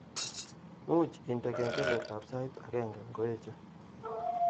Muuch indene kengeletab sait agenge ngoeche